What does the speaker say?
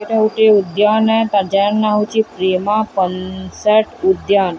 ଏଇଟା ଗୁଟେ ଉଦ୍ୟାନେ ଜାର ନାଁ ହେଉଛି ପ୍ରୀହା ପଲ୍ ସେଟ୍ ଉଦ୍ୟାନ।